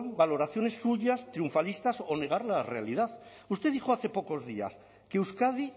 valoraciones suyas triunfalistas o negar la realidad usted dijo hace pocos días que euskadi